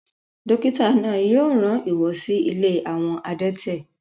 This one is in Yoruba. dókítà náà yóò rán wọn si ilé àwọn adẹ́tẹ̀